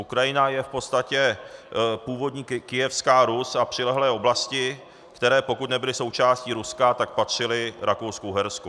Ukrajina je v podstatě původní Kyjevská Rus a přilehlé oblasti, které, pokud nebyly součástí Ruska, tak patřily Rakousku-Uhersku.